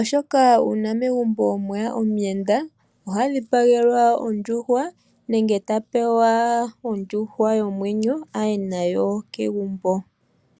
oshoka uuna megumbo mweya omuyenda, oha dhipagelwa ondjuhwa, nenge ta pewa ondjuhwa yomwenyo aye nayo kegumbo.